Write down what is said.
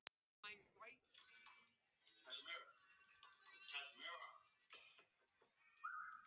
Svo fann hún að hún gat ekki grátið.